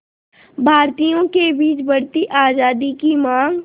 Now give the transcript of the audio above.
भारतीयों के बीच बढ़ती आज़ादी की मांग